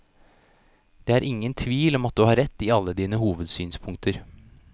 Det er ingen tvil om at du har rett i alle dine hovedsynspunkter.